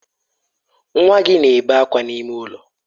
Nwa gị na-ebe akwa n'ime ụlọ.